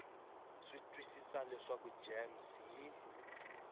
swi twisisa leswaku gems yi